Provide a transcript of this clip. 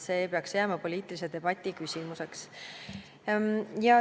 See peaks jääma poliitilise debati küsimuseks.